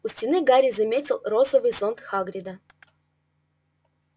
у стены гарри заметил розовый зонт хагрида